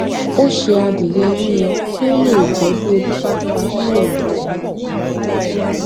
ó se adìyẹ yíyan kí ó lè jẹ bí ebi bá pa á ní òru